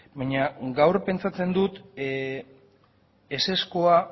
baina gaur pentsatzen dut ezezkoa